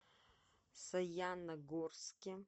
саяногорске